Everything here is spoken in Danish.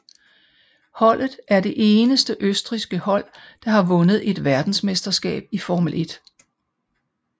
Holdet er det eneste østrigske hold der har vundet et verdensmesterskab i Formel 1